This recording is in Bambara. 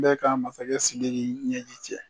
N bɛ ka masakɛ Siriki ɲɛji cɛ.